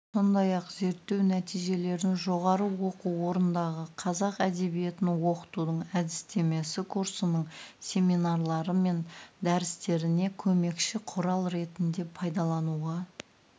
сондай-ақ зерттеу нәтижелерін жоғары оқу орнындағы қазақ әдебиетін оқытудың әдістемесі курсының семинарлары мен дәрістеріне көмекші құрал ретінде пайдалануға